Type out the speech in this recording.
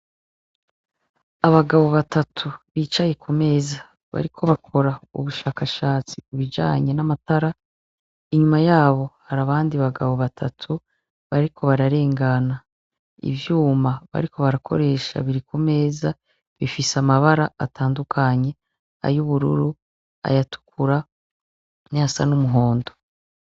Abagabo batatu, bicaye kumeza bariko bakora ubushakashatsi kubijanye namatara, inyuma yabo hari abandi bagabo batatu bariko bararengana. Ivyuma bariko barakoresha biri kumeza bifise amabara atandukanye , ayubururu , ayatukura nayasa n'umuhondo.